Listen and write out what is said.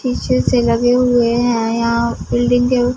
पीछे से लगे हुए हैं यहाँ बिल्डिंग के--